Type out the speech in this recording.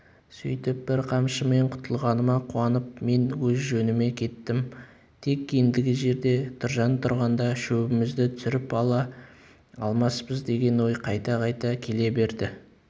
сөйтіп бір қамшымен құтылғаныма қуанып мен өз жөніме кеттім тек ендігі жерде тұржан тұрғанда шебімізді түсіріп ала алмаспыз деген ой қайта-қайта келе береді